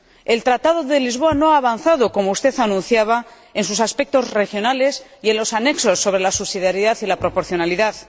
El Tratado de Lisboa no ha avanzado, como usted anunciaba, en sus aspectos regionales y en los anexos sobre la subsidiariedad y la proporcionalidad.